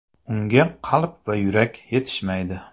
Unga qalb va yurak yetishmaydi.